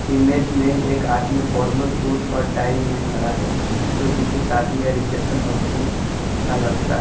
Image में एक आदमी फॉर्मल सूट और टाय में खड़ा है जो किसी शादी या रिसेप्शन फंक्शन का लगता है।